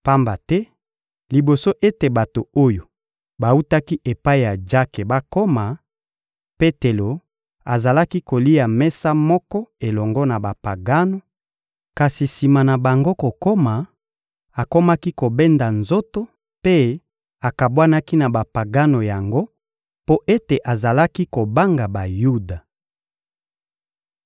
Pamba te liboso ete bato oyo bawutaki epai ya Jake bakoma, Petelo azalaki kolia mesa moko elongo na Bapagano; kasi sima na bango kokoma, akomaki kobenda nzoto mpe akabwanaki na Bapagano yango mpo ete azalaki kobanga Bayuda.